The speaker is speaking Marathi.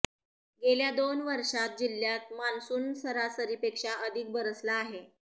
गेल्या दोन वर्षांत जिल्ह्यात मान्सून सरासरीपेक्षा अधिक बरसला आहे